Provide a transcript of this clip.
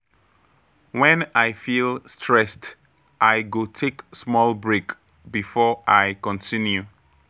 When I feel stressed, I go take small break before I continue.